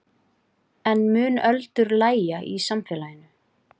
En mun öldur lægja í samfélaginu?